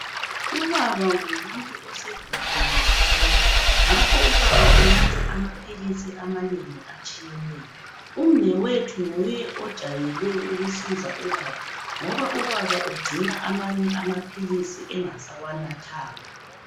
Ubaba ngumuntu osegugile kakhulu. Ngakho ubaba unatha amaphilisi amanengi atshiyeneyo. Umnewethu nguye ojayele ukusiza ubaba ngoba ubaba ugcina amanye amaphilisi engasawanathanga.